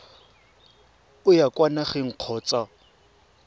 o ya kwa nageng kgotsa